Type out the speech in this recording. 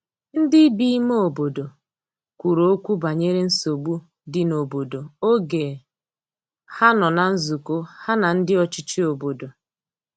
ndi bi ime obodo kwuru okwu banyere nsogbu di n'obodo oge ha nọ na nzukọ ha na ndi ọchichi obodo